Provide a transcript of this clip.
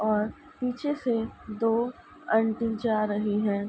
और पीछे से दो आंटी जा रही हैं।